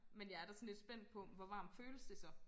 Men jeg er da sådan lidt spændt på hvor varmt føles det så?